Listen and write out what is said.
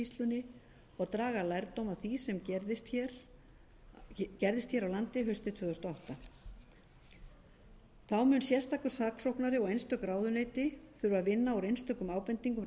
skýrslunni og draga lærdóm af því sem gerðist hér á landi haustið tvö þúsund og átta þá mun sérstakur saksóknari og einstök ráðuneyti þurfa að vinna úr einstökum ábendingum